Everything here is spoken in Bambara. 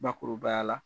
Bakurubaya la